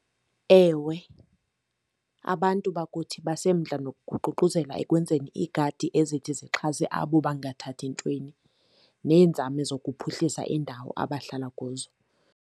Ewe, abantu bakuthi basemdla nokuququzelela ekwenzeni iigadi ezithi zixhase abo bangathathi ntweni, neenzame zokuphuhlisa iindawo abahlala kuzo.